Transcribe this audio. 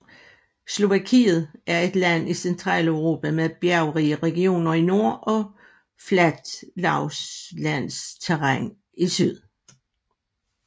Slovakiet er et land i Centraleuropa med bjergrige regioner i nord og fladt lavlandsterræn i syd